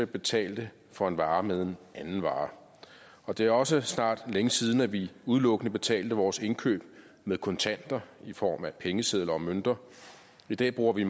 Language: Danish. betalte for en vare med en anden vare og det er også snart længe siden at vi udelukkende betalte vores indkøb med kontanter i form af pengesedler og mønter i dag bruger vi